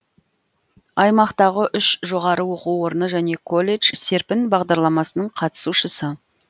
аймақтағы үш жоғары оқу орны және колледж серпін бағдарламасының қатысушысы